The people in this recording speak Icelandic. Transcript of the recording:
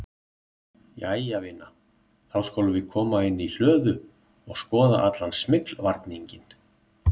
Jæja vina, þá skulum við koma inn í hlöðu og skoða allan smyglvarninginn